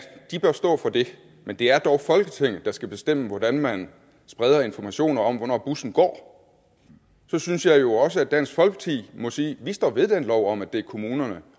de bør stå for det men det er dog folketinget der skal bestemme hvordan man spreder information om hvornår bussen går så synes jeg jo dansk folkeparti må sige at de står ved den lov om at det er kommunerne